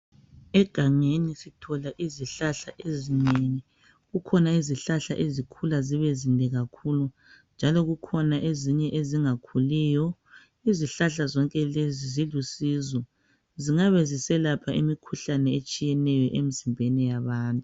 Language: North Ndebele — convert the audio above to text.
Egangeni sithola izihlahla ezinengi, kukhona izihlahla ezikhula zibe zinde kakhulu . Njalo Kukhona ezinye ezingakhuliyo . Izihlahla zonke lezi zilusizo zingabe ziselapha imikhuhlane etshiyeneyo emizimbeni yabantu.